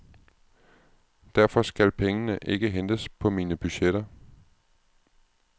Derfor skal pengene ikke hentes på mine budgetter.